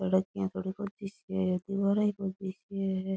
सड़क दीवारा ही बस दिख रेया है।